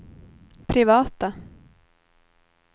privata